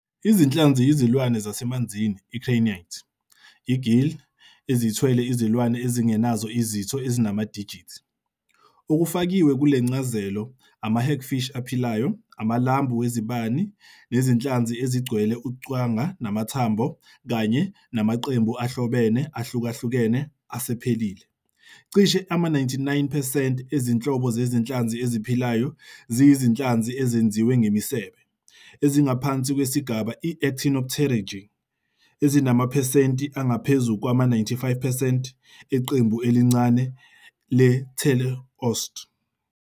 Izinhlanzi yizilwane zasemanzini, i-craniate, i-gill, ezithwele izilwane ezingenazo izitho ezinamadijithi. Okufakiwe kule ncazelo ama-hagfish aphilayo, amalambu wezibani, nezinhlanzi ezigcwele uqwanga namathambo kanye namaqembu ahlobene ahlukahlukene asephelile. Cishe ama-99 percent ezinhlobo zezinhlanzi eziphilayo ziyizinhlanzi ezenziwe ngemisebe, ezingaphansi kwesigaba i-Actinopterygii, ezinamaphesenti angaphezu kwama-95 percent eqembu elincane le-teleost.